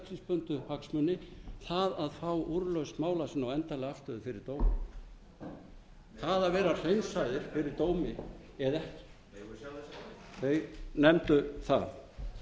einstaklingsbundnu hagsmuni það að fá úrlausn mála sinna og endanlega afstöðu fyrir dómi það að vera hreinsaðir fyrir dómi eða ekki þeir nefndu það